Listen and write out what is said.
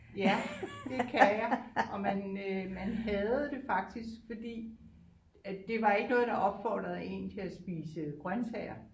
Ja det kan jeg og man øh man hadede det faktisk fordi at det var ikke noget der opfordrede en til at spise grøntsager